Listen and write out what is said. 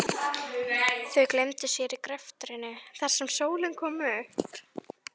Þau gleymdu sér í greftrinum þar til sólin kom upp.